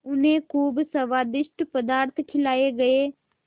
उन्हें खूब स्वादिष्ट पदार्थ खिलाये गये